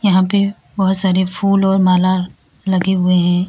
यहां पे बहुत सारे फूल और माला लगे हुए हैं।